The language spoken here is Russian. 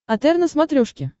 отр на смотрешке